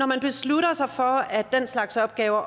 man besluttede sig for at den slags opgaver